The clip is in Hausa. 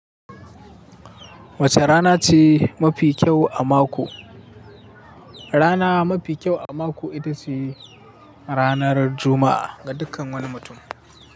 Wace rana ce mafi kyau a mako? Rana mafi kyau a mako ita ce ranar Juma'a ga dukkan wani mutum.